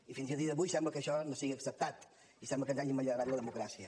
i fins a dia d’avui sembla que això no sigui acceptat i sembla que ens hagin manllevat la democràcia